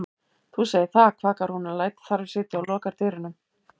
Þú segir það, kvakar hún en lætur þar við sitja og lokar dyrunum.